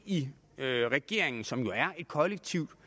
i regeringen som jo er et kollektiv